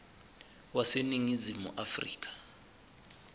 wase ningizimu afrika